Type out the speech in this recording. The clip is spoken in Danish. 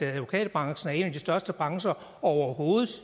advokatbranchen er en af de største brancher overhovedet